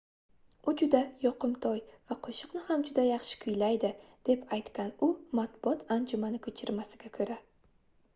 u juda yoqimtoy va qoʻshiqni ham juda yaxshi kuylaydi deb aytgan u matbuot anjumani koʻchirmasiga koʻra